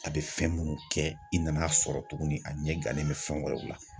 A bɛ fɛn minnu kɛ i nan'a sɔrɔ tuguni a ɲɛ gannen bɛ fɛn wɛrɛw la.